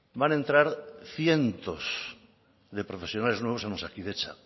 van a entrar cientos de profesionales nuevos en osakidetza